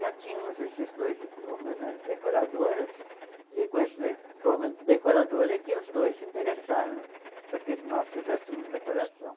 Já tínhamos esses dois diplomas né de decoradoras, e com esse diploma de decoradora é que os dois se interessaram para que nós fizéssemos decoração.